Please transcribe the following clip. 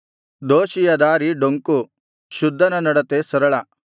ದೋಷಿಯ ದಾರಿ ಡೊಂಕು ಶುದ್ಧನ ನಡತೆ ಸರಳ